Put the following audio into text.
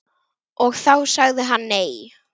Og þá sagði hann nei.